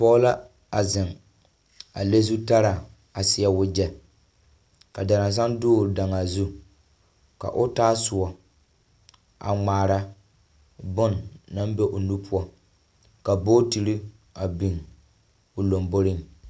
Pɔge la zeŋ a le zutaraa, a seɛ wagyɛ ka daransaŋ dɔgele daŋaa zu. Ka o taa soɔ a ŋmaara bone naŋ be o nu poɔ. Ka bootiri a biŋ o lomboriŋ.